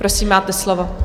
Prosím, máte slovo.